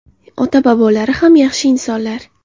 Ota-bobolari ham yaxshi insonlar.